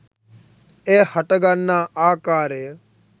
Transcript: එය හටගන්නා ආකාරය